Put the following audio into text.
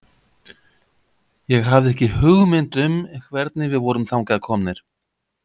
Ég hafði ekki hugmynd um hvernig við vorum þangað komnir.